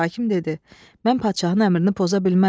Hakim dedi: "Mən padşahın əmrini poza bilmərəm.